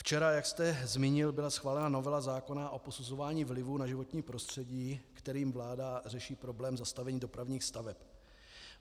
Včera jak jste zmínil, byla schválena novela zákona o posuzování vlivu na životní prostředí, kterým vláda řeší problém zastavení dopravních staveb.